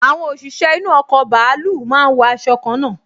Àwọn òṣìṣẹ́ inú ọkọ̀ bàálù máa n wọ aṣọ kanna